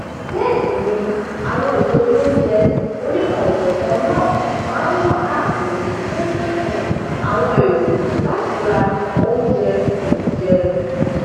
bẹẹ sì ni àwọn ìsọ olóúnjẹ onikan ò jọkan náà máa nwà káàkiri fún um àwọn èrò láti ra óújẹ um jẹ